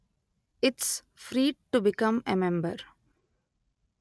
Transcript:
it's free to become a member